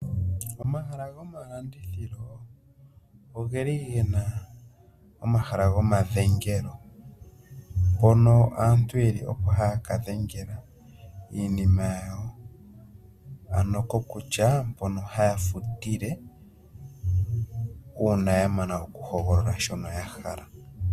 Omahala gomalandithilo ogeli gena omahala gomadhengelo hono aantu yeli oko haya ka dhengela iinima yawo kokutya mpono haya futile uuna ya mana oku hogolola shono ya hala.